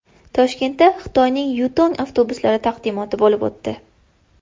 Toshkentda Xitoyning Yutong avtobuslari taqdimoti bo‘lib o‘tdi.